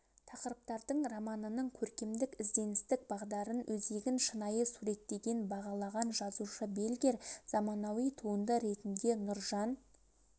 тақырыптардың романының көркемдік ізденістік бағдарын өзегін шынайы суреттеген бағалаған жазушы бельгер заманауи туынды ретінде нұржан